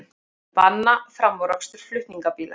Banna framúrakstur flutningabíla